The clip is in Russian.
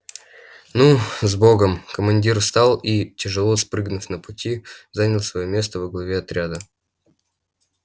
ну с богом командир встал и тяжело спрыгнув на пути занял своё место во главе отряда